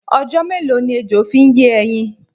Ọjọ́ mélòó ni ejo fi ń yé ẹyin?